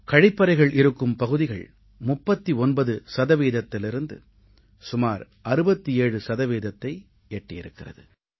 கழிப்பறைகள் இருக்கும் பகுதிகள் 39 சதவீதத்திலிருந்து சுமார் 67 சதவீதத்தை எட்டியிருக்கிறது